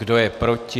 Kdo je proti?